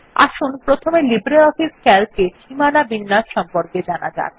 আসুন প্রথমে LibreOffice Calc এ সীমানা বিন্যাস সম্পর্কে জানা যাক